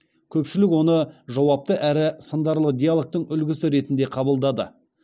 көпшілік оны жауапты әрі сындарлы диалогтың үлгісі ретінде қабылдады